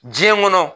Diɲɛ kɔnɔ